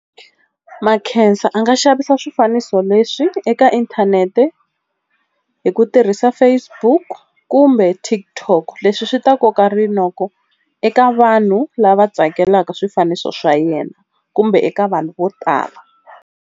Makhensa a nga xavisa swifaniso leswi eka inthanete hi ku tirhisa Facebook kumbe TikTok leswi swi ta koka rinoko eka vanhu lava tsakelaka swifaniso swa yena kumbe eka vanhu vo tala.